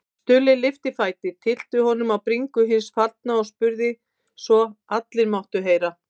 Stulli lyfti fæti, tyllti honum á bringu hins fallna og spurði svo allir máttu heyra